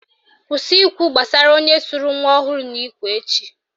Kwụsị ikwu gbasara onye sụrụ nwa ọhụrụ n'ikwe echi!